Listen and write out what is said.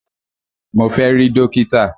Mo fẹ́ rí dókítà!